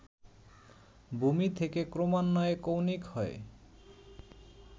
ভূমি থেকে ক্রমান্বয়ে কৌণিক হয়ে